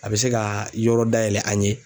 A bɛ se ka yɔrɔ dayɛlɛ an ye.